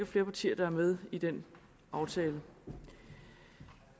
flere partier der er med i den aftale